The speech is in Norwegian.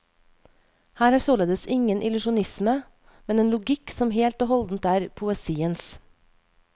Her er således ingen illusjonisme, men en logikk som helt og holdent er poesiens.